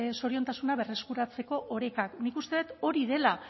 zoriontasuna berreskuratzeko orekak nik uste dut hori dela